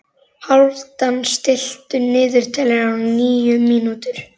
Hálfdan, stilltu niðurteljara á níu mínútur.